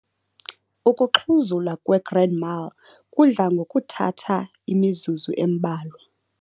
Ukuxhuzula kwe-grand mal kudla ngokuthatha imizuzu embalwa.